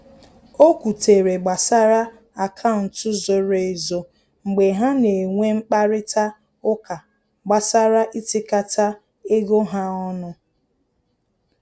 O kwutere gbasara akaụntụ zoro ezo mgbe ha na enwe mkparịta ụka gbasara itikata ego ha ọnụ